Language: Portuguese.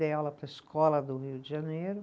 Dei aula para a Escola do Rio de Janeiro.